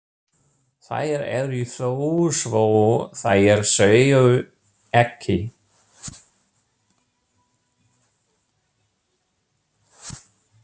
Þær eru þó svo þær séu ekki.